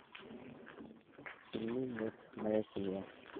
пельмени от моя семья